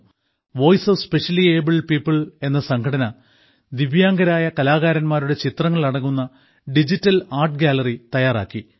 voice of specially abled people എന്ന സംഘടന ദിവ്യാംഗരായ കലാകാരന്മാരുടെ ചിത്രങ്ങൾ അടങ്ങുന്ന ഡിജിറ്റൽ ആർട്ട് ഗാലറി തയ്യാറാക്കി